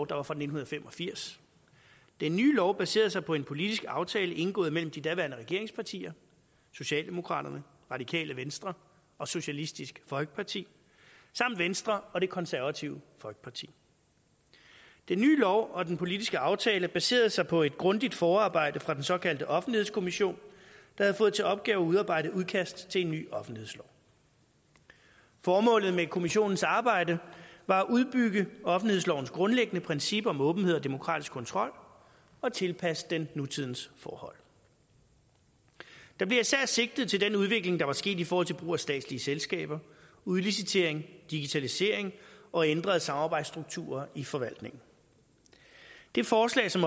der var fra nitten fem og firs den nye lov baserede sig på en politisk aftale indgået mellem de daværende regeringspartier socialdemokraterne radikale venstre og socialistisk folkeparti samt venstre og det konservative folkeparti den nye lov og den politiske aftale baserede sig på et grundigt forarbejde fra den såkaldte offentlighedskommission der havde fået til opgave at udarbejde et udkast til en ny offentlighedslov formålet med kommissionens arbejde var at udbygge offentlighedslovens grundlæggende princip om åbenhed og demokratisk kontrol og tilpasse den nutidens forhold der blev især sigtet til den udvikling der var sket i forhold til brug af statslige selskaber udlicitering digitalisering og ændrede samarbejdsstrukturer i forvaltningen det forslag som